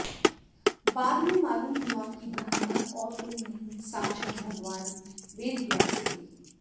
बाद में मालूम हुआ कि ब्राह्मण और कोई नहीं साक्षात् भगवान् वेद व्यास थे